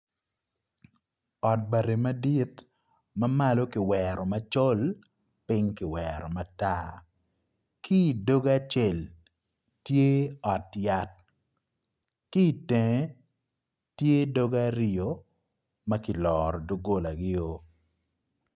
Ot bati madit ma malo kiwero macol piny ki wero matar ki i doge acel tye ot yat ki i tenge tye doge aryo ma kiloro doggolagio.